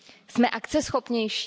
Jsme akceschopnější?